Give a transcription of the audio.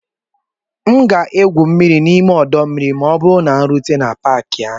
M ga-egwu mmiri n'ime ọdọ mmiri ma ọ bụrụ na m rute n'Paakị ahụ